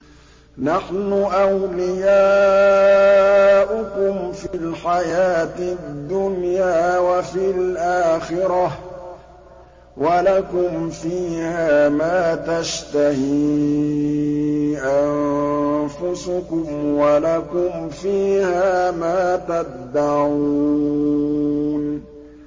نَحْنُ أَوْلِيَاؤُكُمْ فِي الْحَيَاةِ الدُّنْيَا وَفِي الْآخِرَةِ ۖ وَلَكُمْ فِيهَا مَا تَشْتَهِي أَنفُسُكُمْ وَلَكُمْ فِيهَا مَا تَدَّعُونَ